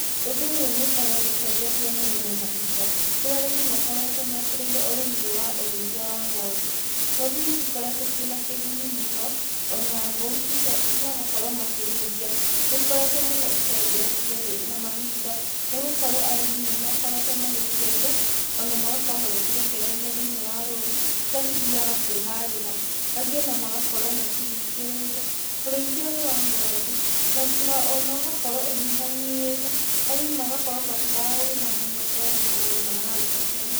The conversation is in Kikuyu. Ũndũ ũyũ nĩ ũkoretwo ũcenjetie mũno na mahinda kũria arĩmĩ makoretwo mekĩrĩrie ũrĩmi ũyũ wa ũrĩithia wa ng'ondu. Ng'ondu nĩ cikoretwo ciĩ na kĩguni mũno o na mbũri magakorwo makĩrĩithia, nĩ ikoretwo mũno icenjetie thĩ na mahinda nĩgũkorwo arĩmi nĩmakoretwo magĩcirĩithia o na magakorwo magĩcirekereria thĩiniĩ wa rũru kũrĩa cithiyaga kwĩharĩra, angĩ o na magakorwo macihingĩrĩte. Ũrĩithia ũyũ wa ng'ondu o na ũgakorwo ũnyihanyihĩte, arĩmi magakorwo matiraũrĩma mũno ta ũrĩa mararĩmaga hau kabere.